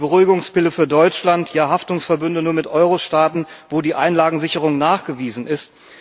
Die Beruhigungspille für Deutschland, Haftungsverbünde nur mit Eurostaaten, wo die Einlagensicherung nachgewiesen ist.